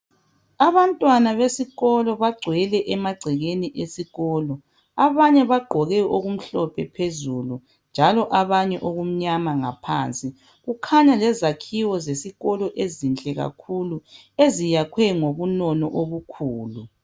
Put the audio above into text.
Abantwana besikolo bangcwele emagcekeni esikolo. Abanye bagqoke okumhlophe phezulu, njalo abanye okumnyama ngaphansi. Kukhanya izakhiwo zesikolo ezihle kakhulu, eziyakwe ngobunono obukhulu.